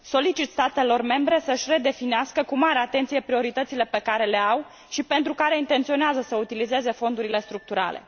Solicit statelor membre să își redefinească cu mare atenție prioritățile pe care le au și pentru care intenționează să utilizeze Fondurile structurale.